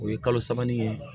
O ye kalo saba nin ye